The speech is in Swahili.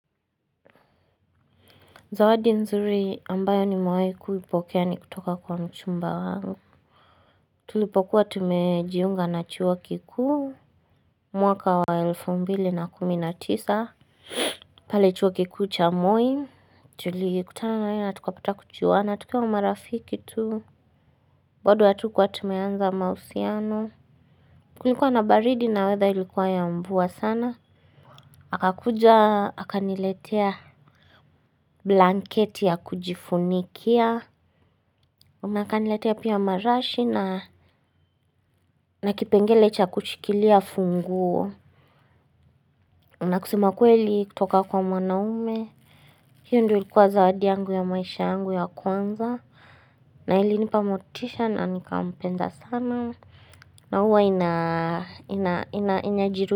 Zawadi nzuri ambayo nimewahi kuipokea ni kutoka kwa mchumba wangu. Tulipokuwa tumejiunga na chuo kikuu. Mwaka wa elfu mbili na kumi na tisa. Pale Chuo Kikuu cha Moi. Tulikutana naye na tukapata kujuana. Tukawa marafiki tu. Bado hatukuwa tumeanza mahusiano. Kulikuwa na baridi na weather ilikuwa ya mvua sana. Akakuja, akaniletea blanketi ya kujifunikia. Na akaniletea pia marashi na. Na kipengele cha kushikilia funguo, na kusema ukweli kutoka kwa mwanaume. Hiyo ndiyo ilikuwa zawadi yangu ya maishani yangu ya kwanza. Na ilinipa motisha na nikampenda sana. Na huwa inajirudia.